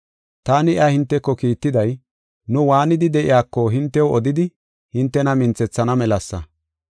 Taani iya hinteko kiittiday, nu waanidi de7iyako hintew odidi hintena minthethana melasa.